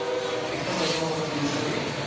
бекназар талғат деген сәби